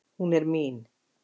Hún er mín